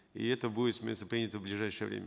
и это будет принято в ближайшее время